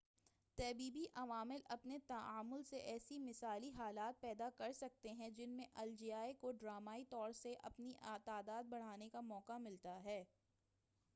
طبیعی عوامل اپنے تعامُل سے ایسے مثالی حالات پیدا کر سکتے ہیں جن میں ان الجائے کو ڈرامائی طور سے اپنی تعداد بڑھانے کا موقع ملتا ہے